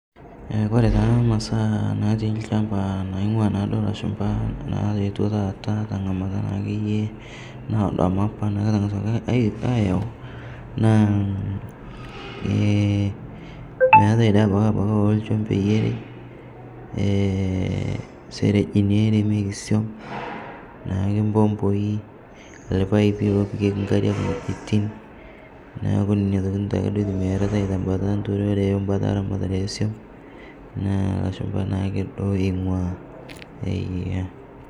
Eh kore taa masaa natii lchamba naing'ua naaduo lashumpa nayeoto taata te ng'amata naakeyie naodo amu apa naa etang'asuaki ai ayau naa, eh meatae dei abaki apake olchombei erei, eh serejini eremeki swom, naake mpompoi, lpaipi lopikeki nkariak ng'ojitin, naaku neina tokitin taake duo eitumiyiaritae tebanta enturore obanta eramatisho eswom, naa lashumpa naake duo eing'ua eeh.